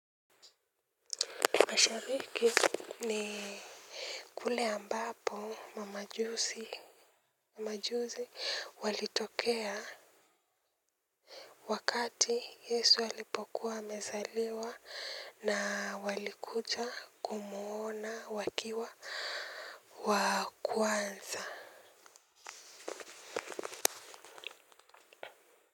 Mashariki ni kule ambapo mamajuzi walitokea wakati yesu alipokuwa amezaliwa na walikucha kumuona wakiwa wa kwanza.